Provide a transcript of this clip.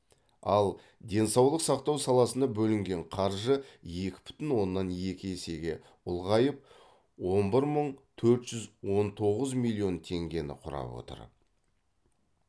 ал денсаулық сақтау саласына бөлінген қаржы екі бүтін оннан екі есеге ұлғайып он бір мың төрт жүз он тоғыз миллион теңгені құрап отыр